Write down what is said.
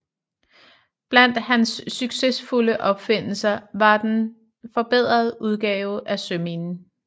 Blandt hans succesfulde opfindelser var en forbedret udgave af søminen